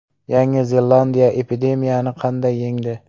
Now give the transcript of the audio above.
Yangi Zelandiya epidemiyani qanday yengdi?